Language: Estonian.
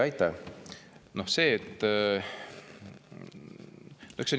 Aitäh!